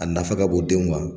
A nafa ka bon denw ma.